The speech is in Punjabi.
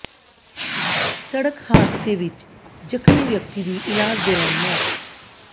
ਸੜਕ ਹਾਦਸੇ ਵਿਚ ਜ਼ਖਮੀ ਵਿਅਕਤੀ ਦੀ ਇਲਾਜ ਦੌਰਾਨ ਮੌਤ